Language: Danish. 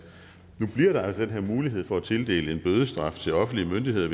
nu bliver der altså den her mulighed for at tildele en bødestraf til offentlige myndigheder